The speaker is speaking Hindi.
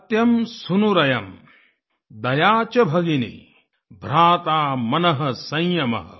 सत्यं सूनुरयं दया च भगिनी भ्राता मनः संयमः